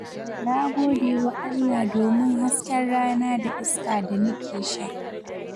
Na gode wa Allah domin hasken rana da iska da nake sha.